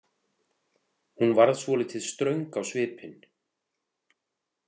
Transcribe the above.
Hún varð svolítið ströng á svipinn.